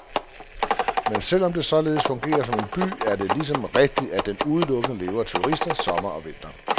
Men selv om den således fungerer som en by, er det ligeså rigtigt, at den udelukkende lever af turister, sommer og vinter.